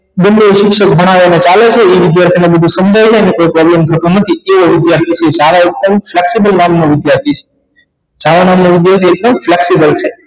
બે બે શિક્ષક ભણાવે ચાલે છે એ વિધાર્થી ને બધુ સમજાઈ છે અને તે એવો વિધાર્થી છે સારો ઉતમ નામ નો વિધાર્થી છે છાયા નામ નો વિધાર્થી એકદમ flexible છે